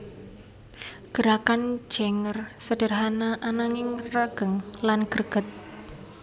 Gerakan Janger sederhana ananging regeng lan greget